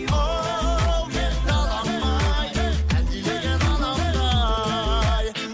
оу менің далам ай әлдилеген анамдай